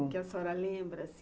Que a senhora lembra?